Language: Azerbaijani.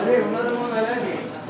Ali, bunlar da mənə gəlir.